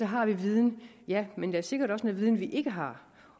har vi viden ja men der er sikkert også noget viden vi ikke har